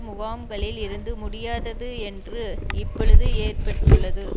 முகாம்களில் இருந்து முடியாதது என்று இப்பொழுது ஏற்பட்டுள்ளது